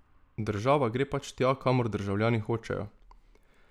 Država gre pač tja kamor državljani hočejo.